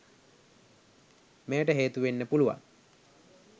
මෙයට හේතු වෙන්න පුළුවන්.